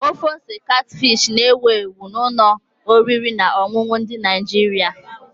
Ofe ose katfish na-ewu ewu na ụlọ oriri na ọṅụṅụ ndị Nigeria.